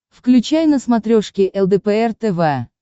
включай на смотрешке лдпр тв